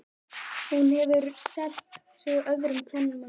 Hann hefur selt sig öðrum kvenmanni.